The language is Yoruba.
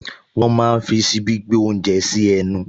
Wọ́n máa ń fi ṣíbí gbé oúnjẹ sí ẹnu